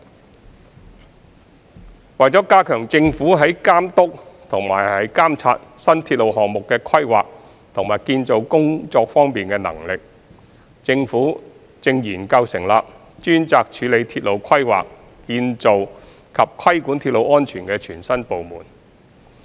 三為加強政府在監督和監察新鐵路項目的規劃和建造工作方面的能力，政府正研究成立專責處理鐵路規劃、建造及規管鐵路安全的全新部門。